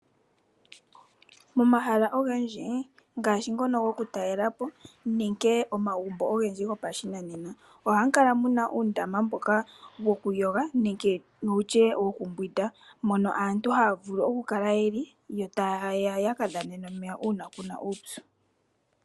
Momahala ogendji ngaashi ngono goku talela po nenge omagumbo ogendji goposhinanena ohamu kala muna uundama mboka wokumbwindwa nenge gokuyoga mono aantu haya vulu okukala yeli, yo taya kadhana omeya uuna kuna uupyu.